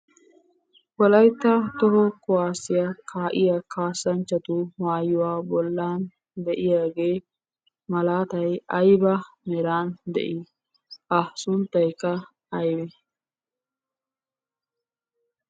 Wolaytta toho kuwaassiyaa kaa'iya kaassanchchatu maayuwaa bollan de'iyagee malaatay ayba meran de'i? A sunttaykka Agnes?